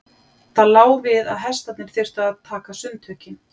Það lá við að hestarnir þyrftu að taka sundtökin.